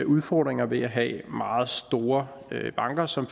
udfordringer ved at have meget store banker som